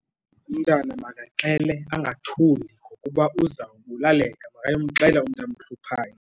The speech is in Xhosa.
Umntana makaxele angathuli ngokuba uzawubulaleka makayomxelela umntu amhluphayo.